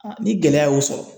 ni gɛlɛya ye o sɔrɔ